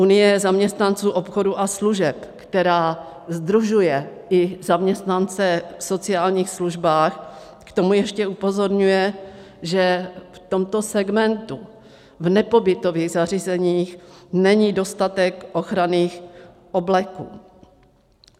Unie zaměstnanců obchodu a služeb, která sdružuje i zaměstnance v sociálních službách, k tomu ještě upozorňuje, že v tomto segmentu v nepobytových zařízeních není dostatek ochranných obleků.